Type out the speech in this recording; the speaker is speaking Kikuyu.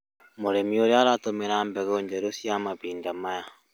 Mũrĩmi ũrĩa aratũmĩra mbegũ njerũ cia mahinda maya